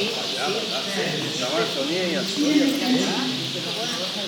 Verlič: "Policije ne kličite.